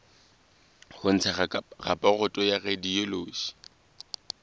ho ntsha raporoto ya radiology